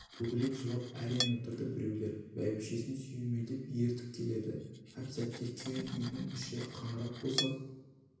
бүгіліп жылап әрең отырды біреулер бәйбішесін сүйемелдеп ертіп келеді әп-сәтте кең үйдің іші қаңырап босап